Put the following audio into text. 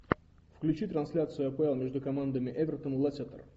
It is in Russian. включи трансляцию апл между командами эвертон лестер